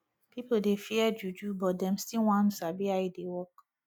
pipo dey fear juju but dem still wan sabi how e dey work